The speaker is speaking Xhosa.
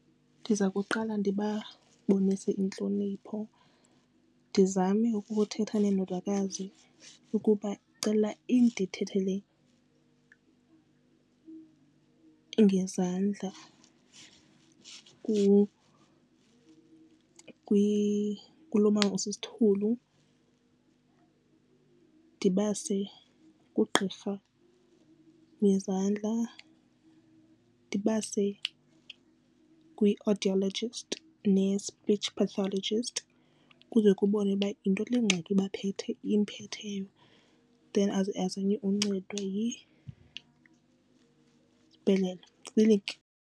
Ndiza kuqala ndibabonise intlonipho ndizame ukuthetha nendodakazi ukuba ndicela indithethele ngezandla kulo mama osisithulu. Ndibase kugqirha wezandla ndibase kwi-audiologist ne-speech pathologist kuze kubonwe uba yinto le ngxaki imphetheyo then azame uncedwa yikliniki.